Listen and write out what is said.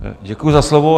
Děkuji za slovo.